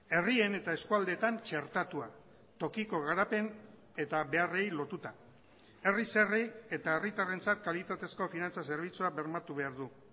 herrien eta eskualdeetan txertatua tokiko garapen eta beharrei lotuta herriz herri eta herritarrentzat kalitatezko finantza zerbitzua bermatu behar du